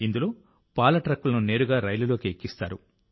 ఇందులో పాల ట్రక్కులను నేరుగా రైలులోకి ఎక్కిస్తారు